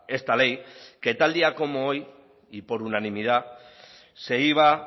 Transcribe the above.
esta ley que tal día como hoy y por unanimidad se iba